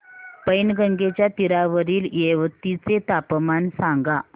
पैनगंगेच्या तीरावरील येवती चे तापमान सांगा